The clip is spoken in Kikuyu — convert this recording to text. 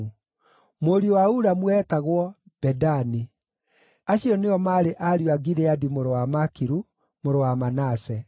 Mũriũ wa Ulamu eetagwo: Bedani. Acio nĩo maarĩ ariũ a Gileadi mũrũ wa Makiru, mũrũ wa Manase.